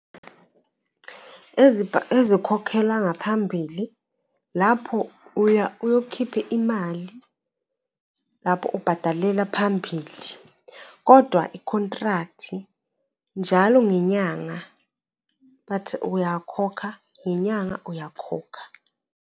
Ezikhokhela ngaphambili lapho uya uyokhipha imali lapho ubhadalela phambili, kodwa i-contract-i njalo ngenyanga bathi uyakhokha ngenyanga, uyakhokha.